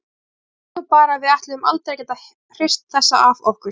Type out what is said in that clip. Ég hélt nú bara að við ætluðum aldrei að geta hrist þessa af okkur.